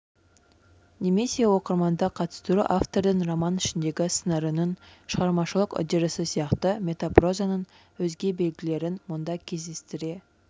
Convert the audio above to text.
немесе оқырманды қатыстыру автордың роман ішіндегі сыңарының шығармашылық үдерісі сияқты метапрозаның өзге белгілерін мұнда кездестіре